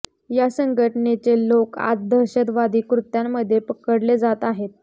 या संघटनेचे लोक आज दहशतवादी कृत्यामध्ये पकडले जात आहेत